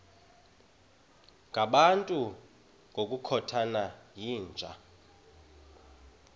ngabantu ngokukhothana yinja